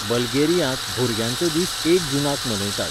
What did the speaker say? बल्गेरियांत, भुरग्यांचो दीस एक जूनाक मनयतात.